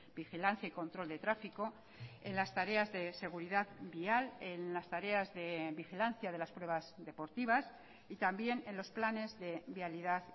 vigilancia y control de tráfico en las tareas de seguridad vial en las tareas de vigilancia de las pruebas deportivas y también en los planes de vialidad